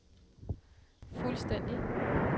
fuldstændig